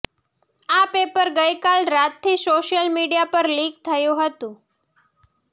આ પેપર ગઈકાલ રાતથી સોશિયલ મીડિયા પર લીક થયું હતું